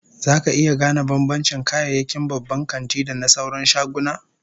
Zaka iya gane bambancin kayayyakin babban kanti da na sauran shaguna?